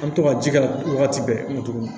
An bɛ to ka ji k'a la wagati bɛɛ tuguni